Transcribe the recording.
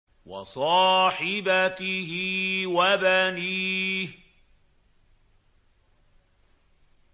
وَصَاحِبَتِهِ وَبَنِيهِ